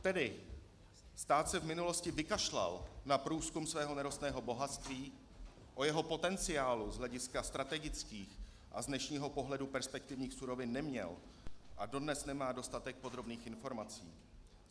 Tedy stát se v minulosti vykašlal na průzkum svého nerostného bohatství, o jeho potenciálu z hlediska strategických a z dnešního pohledu perspektivních surovin neměl a dodnes nemá dostatek podrobných informací.